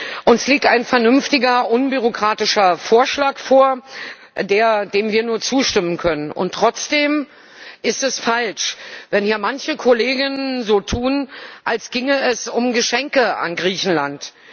Frau Präsidentin! Uns liegt ein vernünftiger, unbürokratischer Vorschlag vor, dem wir nur zustimmen können. Und trotzdem ist es falsch, wenn hier manche Kollegen so tun, als ginge es um Geschenke an Griechenland.